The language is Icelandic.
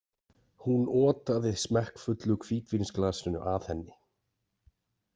Hún otaði smekkfullu hvítvínsglasinu að henni.